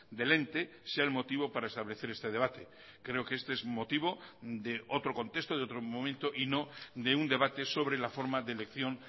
del ente sea el motivo para establecer este debate creo que este es motivo de otro contexto de otro momento y no de un debate sobre la forma de elección